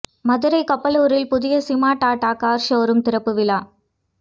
மதுரை கப்பலூரில் புதிய Sima Tata car showroom திறப்பு விழா